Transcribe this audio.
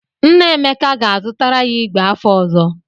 Nna Emeka ga-azụtara ya ìgwè afọ ọzọ.